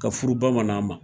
Ka furu bamanan ma.